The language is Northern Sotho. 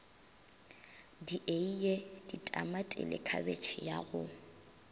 dieie tamatile khabetšhe ya go